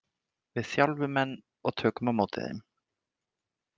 Við þjálfum menn og tökum á móti þeim!